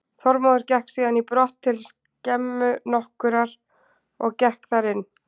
Þormóður gekk síðan í brott til skemmu nokkurrar, gekk þar inn.